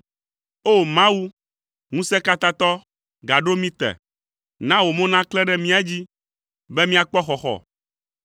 O! Mawu, Ŋusẽkatãtɔ, gaɖo mí te; na wò mo naklẽ ɖe mía dzi, be míakpɔ xɔxɔ.